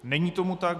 Není tomu tak.